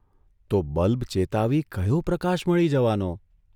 તો બલ્બ ચેતાવી કર્યો પ્રકાશ મળી જવાનો?